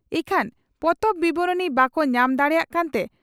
ᱤᱠᱷᱟᱹᱱ ᱯᱚᱛᱚᱵ ᱵᱤᱵᱚᱨᱚᱱᱤ ᱵᱟᱠᱚ ᱧᱟᱢ ᱫᱟᱲᱮᱭᱟᱜ ᱠᱟᱱᱛᱮ